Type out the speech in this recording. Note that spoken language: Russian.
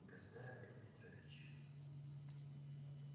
государь андрей петрович